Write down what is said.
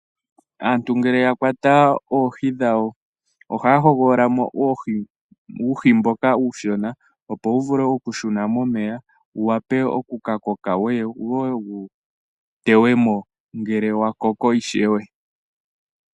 Aantu ngele yakwata oohi dhawo ohaya hogolola uuhi mboka uushona, opo wuvule okushuna momeya, wuwape okukakoka wo wuye wuteye mo ngele wakoko ishewe.